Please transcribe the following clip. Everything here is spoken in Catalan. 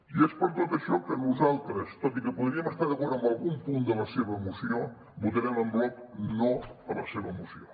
i és per tot això que nosaltres tot i que podríem estar d’acord amb algun punt de la seva moció votarem en bloc no a la seva moció